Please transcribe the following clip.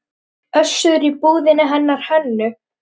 Össur í búðinni hennar Hönnu?